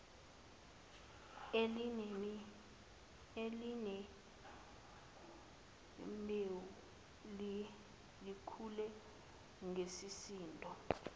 elinembewu likhule ngesisindo